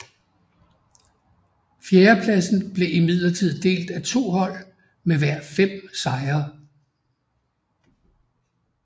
Fjerdepladsen blev imidlertid delt af to hold med hver fem sejre